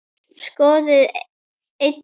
Skoðið einnig